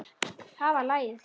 Það var lagið!